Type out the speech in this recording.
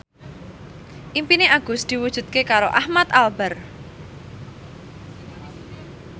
impine Agus diwujudke karo Ahmad Albar